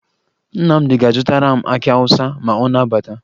Nnamdị ga-azụtara m akị Awụsa ma ọ na-abata